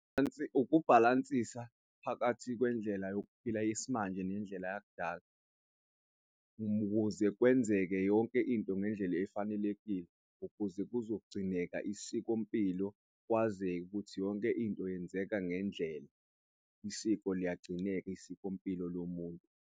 Ukubhalansisa phakathi kwendlela yokuphila yesimanje, nendlela yakudala ukuze kwenzeke yonke into ngendlela efanelekile ukuze kuzogcineka isikompilo kwazeke ukuthi yonke into yenzeka ngendlela isiko liyagcineka isikompilo lomuntu.